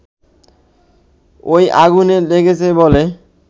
ওই আগুন লেগেছে বলে